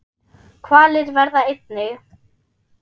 Hvalir verða einnig